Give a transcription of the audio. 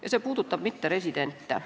Ja see puudutab mitteresidente.